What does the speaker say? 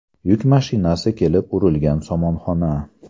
Yuk mashinasi kelib urilgan somonxona.